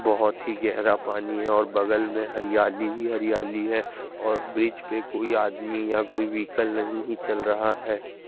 बहुत ही गहरा पानी है और बगल में हरियाली ही हरियाली है और ब्रिज पे कोई भी आदमी या कोई भी व्हीकल नहीं ही चल रहा है।